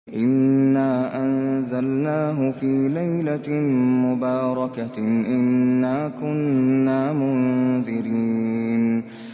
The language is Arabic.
إِنَّا أَنزَلْنَاهُ فِي لَيْلَةٍ مُّبَارَكَةٍ ۚ إِنَّا كُنَّا مُنذِرِينَ